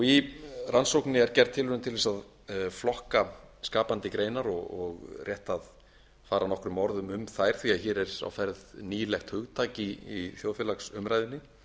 í rannsókninni er gerð tilraun til að flokka skapandi greinar og rétt fara nokkrum orðum um þær því hér er á ferð nýlegt hugtak í þjóðfélagsumræðunni